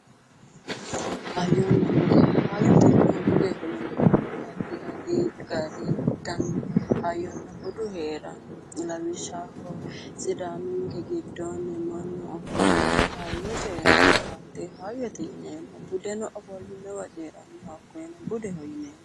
Hayyonna bude. Hayyotenna budeho yineemmori addi addi gari dani hayyonna budu heeranno. Lawishshaho sidaaminke giddoonni mannu ofolle hayyo coyiranno. Hattee hayyote yineemmo. Budeno ofollinowa coyiranno. Hakkoyeno budeho yineemmo.